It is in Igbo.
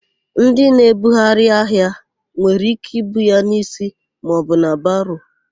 Ndị na-ebugharị ahịa nwere íké ibu ya n'isi maọbụ na baro.